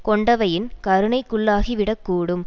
கொண்டவையின் கருணைக்குள்ளாக்கிவிடக் கூடும்